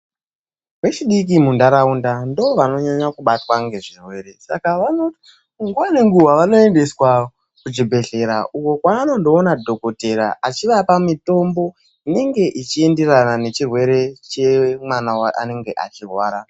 Vechidiki munharaunda ndoovanonyanya kubatwa nezvirwere saka nguwa nenguwa vanoendeswa kuchibhedhlera uko kwavanondoona dhokodheya achivapa mitombo inenge ichienderana nechirwere mwana chaanenge achirwara.